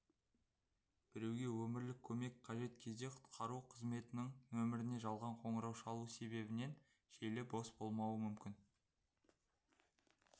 біреуге өмірлік көмек қажет кезде құтқару қызметінің нөміріне жалған қоңырау шалу себебінен желіс бос болмауы мүмкін